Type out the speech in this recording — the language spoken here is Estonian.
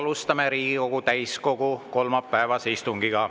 Alustame Riigikogu täiskogu kolmapäevast istungit.